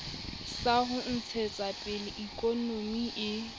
sa ho ntshetsapele ikonomi e